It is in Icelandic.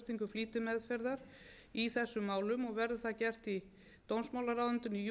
flýtimeðferðar í þessum málum og verður það gert í dómsmálaráðuneytinu í júlí